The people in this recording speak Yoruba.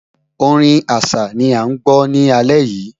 Orin Àṣá ni à ń gbọ́ ní alẹ́ yìí